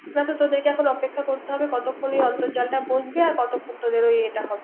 নয়তো ওরা তোদের এখন অপেক্ষা কতক্ষন অর্ন্তজালটা বসবে আর কতক্ষন